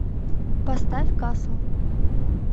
поставь касл